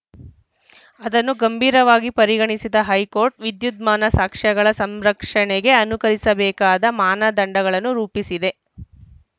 ಅದನ್ನು ಗಂಭೀರವಾಗಿ ಪರಿಗಣಿಸಿದ ಹೈಕೋರ್ಟ್‌ ವಿದ್ಯುದ್ಮಾನ ಸಾಕ್ಷ್ಯಗಳ ಸಂರಕ್ಷಣೆಗೆ ಅನುಸರಿಸಬೇಕಾದ ಮಾನದಂಡಗಳನ್ನು ರೂಪಿಸಿದೆ